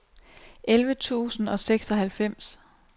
elleve tusind og seksoghalvfems